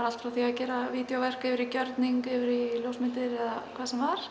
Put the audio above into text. allt frá því að gera vídjóverk yfir í gjörninga yfir í ljósmyndir eða hvað sem var